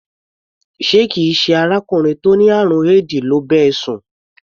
Ṣé kì í ṣe arákùnrin tó ní àrùn éèdì ló bá ẹ sùn?